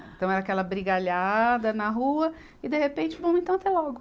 Então, era aquela brigalhada na rua e, de repente, vamos então até logo.